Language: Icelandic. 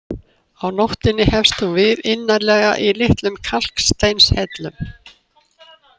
Á nóttunni hefst hún við innarlega í litlum kalksteinshellum.